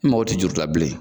N mago ti juru la bilen.